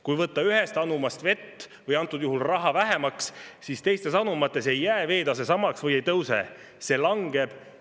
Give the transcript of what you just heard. Kui võtta ühest anumast vett – ehk antud juhul raha – vähemaks, siis teistes anumates ei jää veetase samaks või ei tõuse, vaid see langeb.